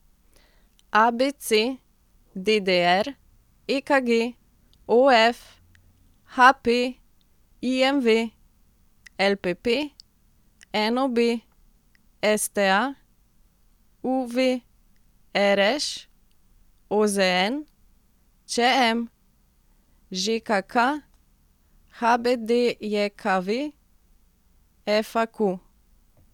ABC, DDR, EKG, OF, HP, IMV, LPP, NOB, STA, UV, RŠ, OZN, ČM, ŽKK, HBDJKV, FAQ.